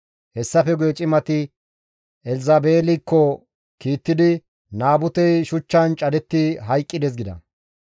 Hessafe guye cimati Elzabeelikko kiittidi, «Naabutey shuchchan cadetti hayqqides» gida.